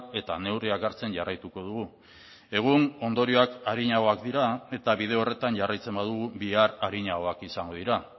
eta neurriak hartzen jarraituko dugu egun ondorioak arinagoak dira eta bide horretan jarraitzen badugu bihar arinagoak izango dira